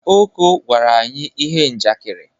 Oko gwara anyi ihe njakịrị.